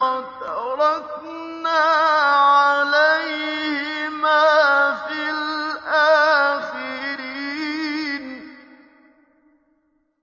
وَتَرَكْنَا عَلَيْهِمَا فِي الْآخِرِينَ